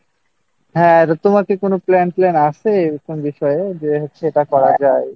হ্যাঁ তোমার কি কোনও plan-flan আছে এরকম বিষয়ে যে হচ্ছে এটা করা যায়